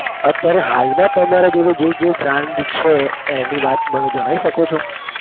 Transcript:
અત્યારે હાલમાં તમારા જોડે જે જે brand છે એની વાત મને જણાવી શકો છો?